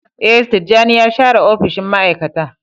Ee, Tijjani ya share opishin ma'aikata.